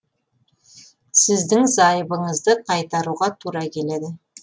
сіздің зайыбыңызды қайтаруға тура келеді